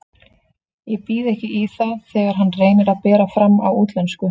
Ég býð ekki í það þegar hann reynir að bera fram á útlensku.